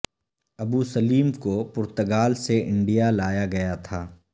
ابو سلیم کو پرتگال سے انڈیا لایا گیا تھا